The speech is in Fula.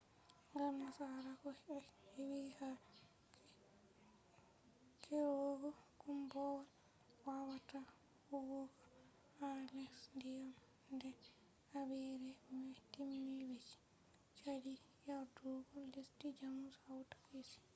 ngam nasarako ɓe heɓɓi ha kerugo koombowal wawata huwugo ha les diyam nde habire mai timmi be sali yardugo lesdi jamus hawta kesi